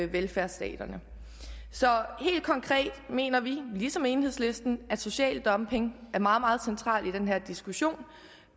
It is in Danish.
velfærdsstaterne så helt konkret mener vi ligesom enhedslisten at social dumping er meget meget central i den her diskussion